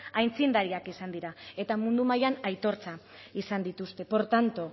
aitzindariak izan dira eta mundu mailan aitortza izan dituzte por tanto